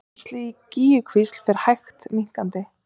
Rennsli í Gígjukvísl fer hægt minnkandi